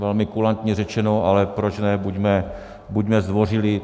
Velmi kulantně řečeno, ale proč ne, buďme zdvořilí.